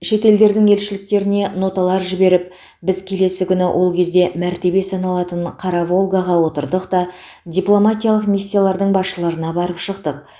шет елдердің елшіліктеріне ноталар жіберіп біз келесі күні ол кезде мәртебе саналатын қара волгаға отырдық та дипломатиялық миссиялардың басшыларына барып шықтық